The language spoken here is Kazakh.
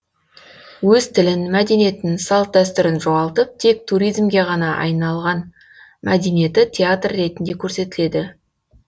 өз тілін мәдениетін салт дәстүрін жоғалтып тек туризмге ғана айн мәдениеті театр ретінде көрсетіледі